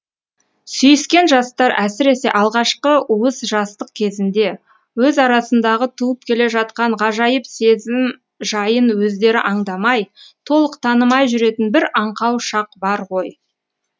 сүйіскен жастар әсіресе алғашқы уыз жастық кезінде өз арасындағы туып келе жатқан ғажайып сезім жайын өздері аңдамай толық танымай жүретін бір аңқау шақ бар ғой